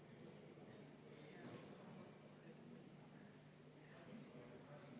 See, et valitsus julgeb tulla Riigikogu ette sellise haltuuraga, on lihtsalt häbiväärne.